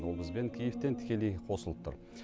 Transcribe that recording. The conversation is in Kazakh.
ол бізбен киевтен тікелей қосылып тұр